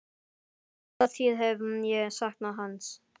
Alla tíð hef ég saknað hans.